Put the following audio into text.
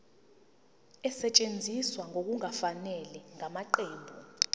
esetshenziswe ngokungafanele ngamaqembu